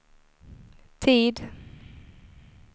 tid